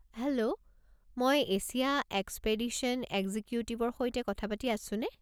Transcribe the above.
Hello মই Asia expedition এক্সিকিউটিভৰ সৈতে কথা পাতি আছোনে?